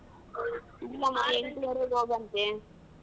ಎಂಟುವರೆಗೆ ಹೋಗಂತೆ.